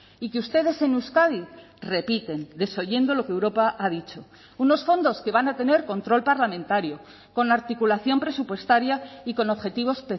y que ustedes en euskadi repiten desoyendo lo que europa ha dicho unos fondos que van a tener control parlamentario con articulación presupuestaria y con objetivos